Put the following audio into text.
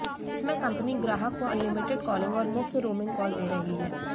इसमें कंपनी ग्राहक को अनलिमिटेड कॉलिंग और मुफ्त रोमिंग कॉल दे रही है